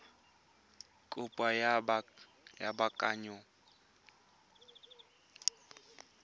kopo ya go baakanya diphoso